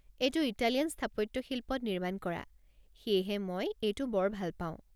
এইটো ইটালীয়ান স্থাপত্যশিল্পত নিৰ্মাণ কৰা, সেয়েহে মই এইটো বৰ ভাল পাওঁ।